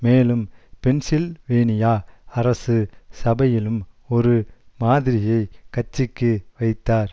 மேலும் பென்சில்வேனியா அரசு சபையிலும் ஒரு மாதிரியை கட்சிக்கு வைத்தார்